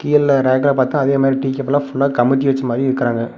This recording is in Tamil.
கீழ ரேக்குல பாத்தா அதே மாரி டீ கப்லா ஃபுல்லா கமித்தி வெச்ச மாரி இருக்கறாங்க.